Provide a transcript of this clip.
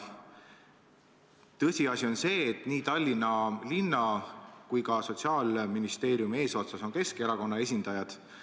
Tõsiasi on see, et nii Tallinna linna kui ka Sotsiaalministeeriumi eesotsas on Keskerakonna esindajad.